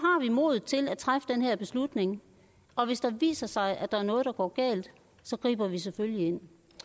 modet til at træffe den her beslutning og hvis det viser sig at der er noget der går galt griber vi selvfølgelig ind